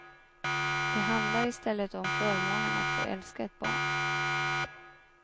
Det handlar i stället om förmånen att få älska ett barn.